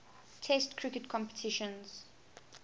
test cricket competitions